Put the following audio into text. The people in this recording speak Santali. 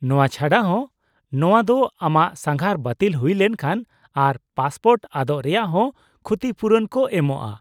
-ᱱᱚᱶᱟ ᱪᱷᱟᱰᱟ ᱦᱚᱸ, ᱱᱚᱶᱟ ᱫᱚ ᱟᱢᱟᱜ ᱥᱟᱸᱜᱷᱟᱨ ᱵᱟᱛᱤᱞ ᱦᱩᱭ ᱞᱮᱱᱠᱷᱟᱱ ᱟᱨ ᱯᱟᱥᱯᱳᱨᱴ ᱟᱫᱚᱜ ᱨᱮᱭᱟᱜ ᱦᱚᱸ ᱠᱷᱩᱛᱤᱯᱩᱨᱩᱱ ᱠᱚ ᱮᱢᱚᱜᱼᱟ ᱾